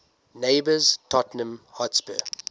neighbours tottenham hotspur